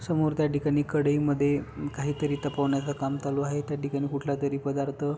समोर त्या ठिकाणी कढईमध्ये काही तरी तापवण्याच काम चालू आहे त्या ठिकाणी कुठला तरी पदार्थ --